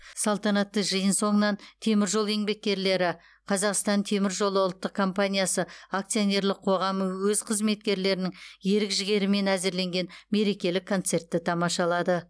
салтанатты жиын соңынан темір жол еңбеккерлері қазақстан темір жолы ұлттық компаниясы акционерлік қоғамы өз қызметкерлерінің ерік жігерімен әзірленген мерекелік концертті тамашалады